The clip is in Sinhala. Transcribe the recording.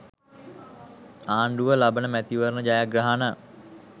ආණ්ඩුව ලබන මැතිවරණ ජයග්‍රහණ